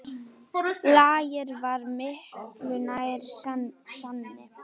Lager var miklu nær sanni.